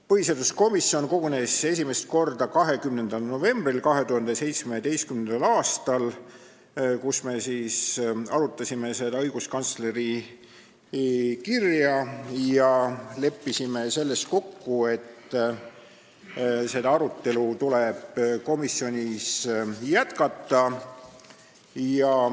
Põhiseaduskomisjon kogunes esimest korda õiguskantsleri kirja arutama 20. novembril 2017. aastal ja me leppisime kokku, et seda arutelu tuleb komisjonis jätkata.